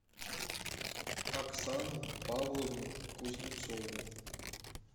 оксану павловну кузнецову